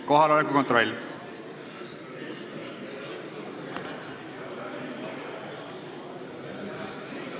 Kohaloleku kontroll.